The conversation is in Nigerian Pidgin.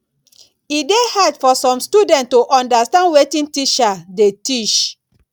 e de dey hard for some students to understand wetin teacher de teach